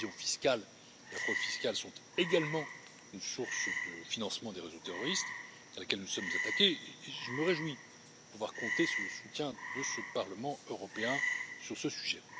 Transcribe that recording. L'évasion fiscale et la fraude fiscale sont également une source de financement des réseaux terroristes à laquelle nous nous sommes attaqués, et je me réjouis de pouvoir compter sur le soutien de ce Parlement européen sur ce sujet.